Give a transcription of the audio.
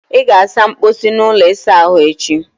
ị ga-asa mposi na ụlọ ịsa ahụ echi!